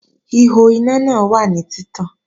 Ihò iná náà wà ní títàn